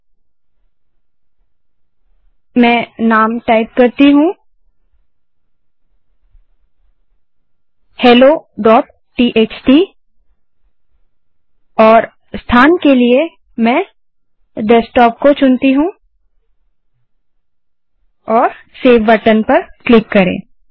तो मैं नाम टाइप करती हूँ helloटीएक्सटी और स्थान के लिए डेस्कटॉप चुनती हूँ और सेव बटन पर क्लिक करें